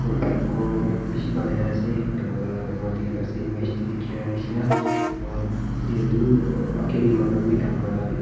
ghor beshi banai na ase yellow colour moikhan dekhi pa ase image tey dekha neshna moihan yate edu age tey manu khan bi kam kura le bi dekhi--